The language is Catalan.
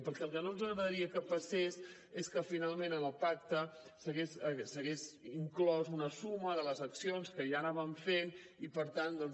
perquè el que no ens agradaria que passés és que finalment en el pacte s’hagués inclòs una suma de les accions que ja anaven fent i per tant doncs